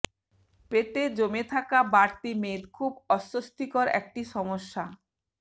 পেটে জমে থাকা বাড়তি মেদ খুব অস্বস্তিকর একটি সমস্যা